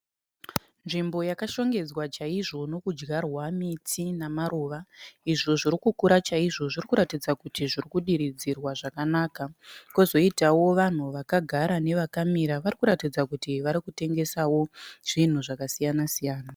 Nzvimbo yakashongedzwa chaizvo nokudyarwa miti namaruva izvo zvirikukura chaizvo. Zvirikuratidza kuti zvirikudiridzirwa zvakanaka. Kozoitawo vanhu vakagara nevakamira, varikuratidza kuti varikutengesawo zvinhu zvakasiyana-siyana.